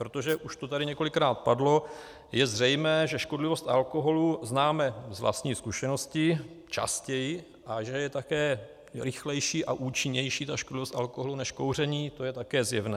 Protože, už to tady několikrát padlo, je zřejmé, že škodlivost alkoholu známe z vlastní zkušenosti častěji a že je také rychlejší a účinnější ta škodlivost alkoholu než kouření, to je také zjevné.